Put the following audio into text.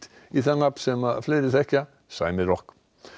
í það nafn sem fleiri þekkja sæmi rokk